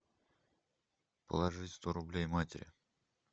положить сто рублей матери